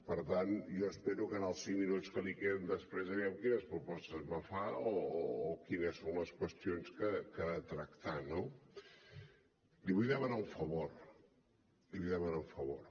per tant jo espero en els cinc minuts que li queden després aviam quines propostes me fa o quines són les qüestions que ha de tractar no li vull demanar un favor li vull demanar un favor